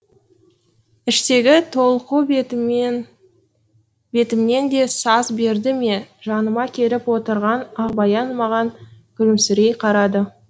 іштегі толқу бетімнен де саз берді ме жаныма келіп отырған ақбаян маған күлімсірей қарады